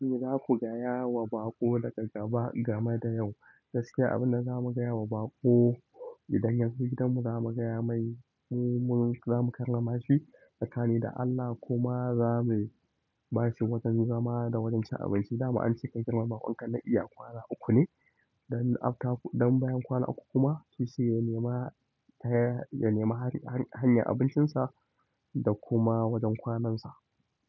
Me za ku gayawa baƙo daga gaba game da yau. Gaskiya abun da za mu gaya wa baƙo idan yazo gidan mu za mu gaya mai mu zamu karrama shi tsakani da Allah kuma za mu ba shi wajen zama da wajen cin abinci. Dama ance ka girmama baƙon ka na iya kwana uku ne. Don afta don bayan kwana uku kuma sai sai ya nema hanyar nema hanyar abincinsa da kuma wajen kwanansa.